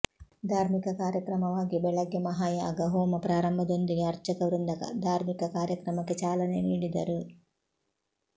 ಧಾರ್ಮಿಕ ಕಾರ್ಯಕ್ರಮವಾಗಿ ಬೆಳಗ್ಗೆ ಮಹಾಯಾಗ ಹೋಮ ಪ್ರಾರಂಭದೊಂದಿಗೆ ಅರ್ಚಕವೃಂದ ಧಾರ್ಮಿಕ ಕಾರ್ಯಕ್ರಮಕ್ಕೆ ಚಾಲನೆ ನೀಡಿದರು